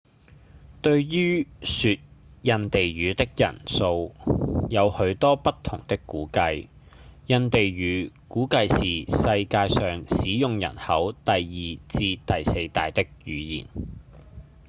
對於說印地語的人數有許多不同的估計；印地語估計是世界上使用人口第二至第四大的語言